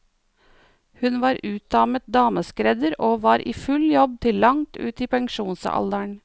Hun var utdannet dameskredder og var i full jobb til langt ut i pensjonsalderen.